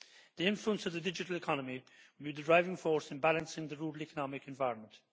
The influence of the digital economy will be the driving force in balancing the rural economic environment.